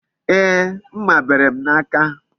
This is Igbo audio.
Ee, mma bere m n'aka